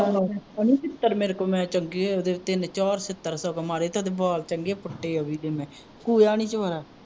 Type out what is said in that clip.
ਓਹਨੂੰ ਛਿੱਤਰ ਮੇਰੇ ਕੋਲੋਂ ਮੈਂ ਚੰਗੇ ਓਹਦੇ ਤਿੰਨ ਚਾਰ ਛਿੱਤਰ ਸਗੋਂ ਮਾਰੇ ਤੇ ਓਹਦੇ ਵਾਲ ਚੰਗੇ ਪੁੱਟੇ ਅਵੀ ਦੇ ਮੈਂ ਨੀ ਵਿਚਾਰਾ